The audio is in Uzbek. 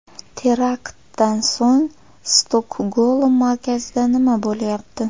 Teraktdan so‘ng Stokgolm markazida nima bo‘lyapti ?